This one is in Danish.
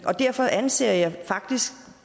og derfor anser jeg det faktisk